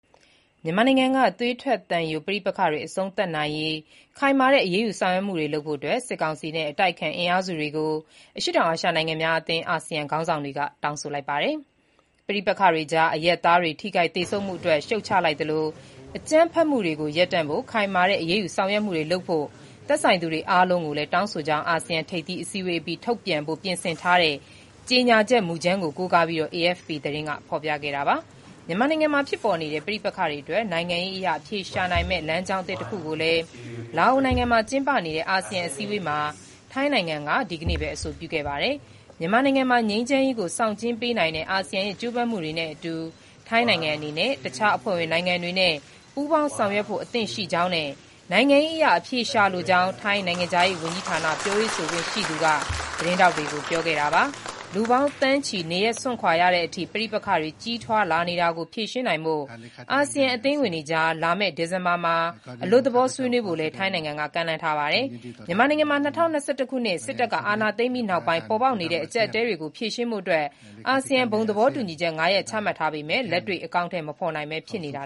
မြန်မာနိုင်ငံက သွေးထွက်သံယို ပဋိပက္ခတွေ အဆုံးသတ်နိုင်ရေး ခိုင်မာတဲ့ အရေးယူ ဆောင်ရွက်မှုတွေလုပ်ဖို့ စစ်ကောင်စီနဲ့ အတိုက်အခံ အင်အားစုတွေကို အရှေ့တောင်အာရှ နိုင်ငံများအသင်း (အာဆီယံ) ခေါင်းဆောင်တွေ တောင်းဆိုလိုက်ပါတယ်။ ပဋိပက္ခတွေကြား အရပ်သားတွေ ထိခိုက်သေဆုံးမှုအတွက် ရှုတ်ချလိုက်သလို၊ အကြမ်းဖက်မှုတွေကို ရပ်တန့်ဖို့ ခိုင်မာတဲ့ အရေးယူဆောင်ရွက်မှုတွေလုပ်ဖို့ သက်ဆိုင်သူတွေ အားလုံးကို တောင်းဆိုကြောင်းလည်း အာဆီယံ ထိပ်သီးအစည်းအဝေးအပြီး ထုတ်ပြန်ဖို့ ပြင်ဆင်ထားတဲ့ ကြေညာချက် မူကြမ်းကို ကိုးကားပြီး AFP သတင်းက ဖော်ပြခဲ့တာပါ။ မြန်မာနိုင်ငံမှာဖြစ်ပေါ်နေတဲ့ ပဋိပက္ခတွေအတွက် နိုင်ငံရေးအရ အဖြေရှာနိုင်မယ့် လမ်းကြောင်းသစ် တခုကိုလည်း လာအိုနိုင်ငံမှာ ကျင်းပနေတဲ့ အာဆီယံအစည်းအဝေးမှာ ထိုင်းနိုင်ငံက ထိုင်းနိုင်ငံ ဒီနေ့ပဲ အဆိုပြုခဲ့ပါတယ်။ မြန်မာနိုင်ငံမှာ ငြိမ်းချမ်းရေးကို ဆောင်ကျဉ်းပေးနိုင်တဲ့ အာဆီယံရဲ့ ကြိုးပမ်းမှုတွေနဲ့အတူ ထိုင်းနိုင်ငံအနေနဲ့ အခြားအဖွဲ့ဝင်နိုင်ငံတွေနဲ့ ပူးပေါင်းဆောင်ရွက်ဖို့အသင့်ရှိကြောင်းနဲ့ နိုင်ငံရေးအရ ဖြေရှာလိုကြောင်း ထိုင်းနိုင်ငံခြားရေးဝန်ကြီးဌာန ပြောရေးဆိုခွင့်ရှိသူ Nikorndej Balankura က သတင်းထောက်တွေကို ပြောခဲ့တာပါ။ လူပေါင်းသန်းချီ နေရပ်စွန့်ခွာခဲ့ရတဲ့အထိ ပဋိပက္ခတွေ ကြီးထွားလာနေတာကို ဖြေရှင်းနိုင်ဖို့ အာဆီယံ အသင်းဝင်တွေကြား လာမယ့် ဒီဇင်ဘာမှာ အလွတ်သဘော ဆွေးနွေးဖို့လည်း ထိုင်းနိုင်ငံက ကမ်းလှမ်းထားပါတယ်။ မြန်မာနိုင်ငံမှာ ၂၀၂၁ ခုနှစ် စစ်တပ်က အာဏာသိမ်းပြီးနောက်ပိုင်း ပေါ်ပေါက်နေတဲ့ အကျပ်အတည်းတွေကို ဖြေရှင်းဖို့ အာဆီယံက ဘုံသဘောတူညီချက် ၅ ရပ် ချမှတ်ထားပေမဲ့ လက်တွေ့ အကောင်အထည် မဖော်နိုင်ပဲ ဖြစ်နေတာ